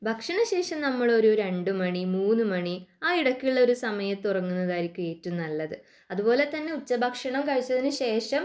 ഭക്ഷണശേഷം നമ്മളൊരു രണ്ടുമണി ഒരു മൂന്നുമണി ആയിടയ്ക്കുള്ള ഒരു സമയത്തു ഉറങ്ങുന്നതായിരിക്കും നല്ലത് അതുപോലെതന്നെ ഉച്ചഭക്ഷണം കഴിച്ചതിനു ശേഷം